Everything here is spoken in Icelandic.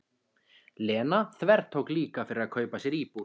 Lena þvertók líka fyrir að kaupa sér íbúð.